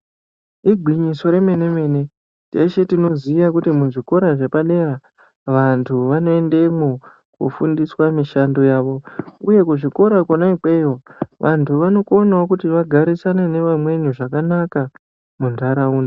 Igwinyiso remene mene teshe tinoziya kuti muzvikora vantu vanoendemwo kufundiswa mishando yavo uye kuzvikora kwona ikweyo vantu vanokona kuti vagarisane nevamweni zvakanaka muntaraunda.